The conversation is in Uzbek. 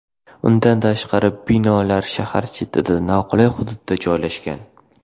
Undan tashqari, bino shahar chetida, noqulay hududda joylashgan.